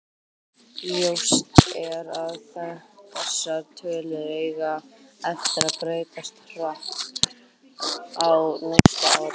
Ljóst er að þessar tölur eiga eftir að breytast hratt á næstu árum.